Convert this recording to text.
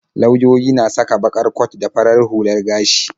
Lauyoyi na saka baƙar kwat da farar hular gashi.